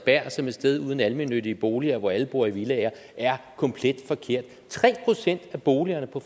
som et sted uden almennyttige boliger hvor alle bor i villaer er komplet forkert tre procent af boligerne på